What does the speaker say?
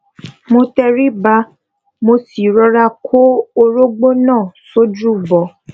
mo tẹríba mo sì rọra kó orógbó náà sójú bọ